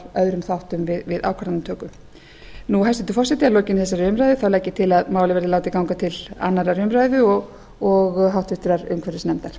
öðrum þáttum við ákvarðanatöku hæstvirtur forseti að lokinni þessari umræðu legg ég til að málið verði látið ganga til annarrar umræðu og háttvirtur umhverfisnefndar